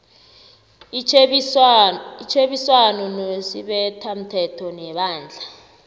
itjhebiswano nesibethamthetho nebandla